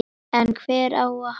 En hvert á að halda?